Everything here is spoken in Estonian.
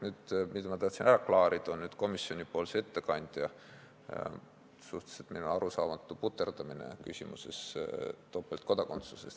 Nüüd see, mis ma tahtsin ära klaarida, on komisjonipoolse ettekandja minu jaoks suhteliselt arusaamatu puterdamine topeltkodakondsuse küsimuses.